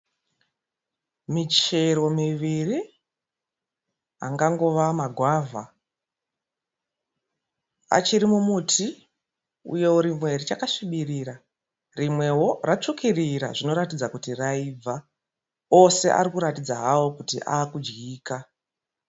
Michero miviri. Angangova magwavha. Achiri mumuti, uyewo rimwe richasvibirira, rimwewo ratsvukirira zvinoratidza kuti raibva. Ose avakuratidza hawo kuti avakudyika.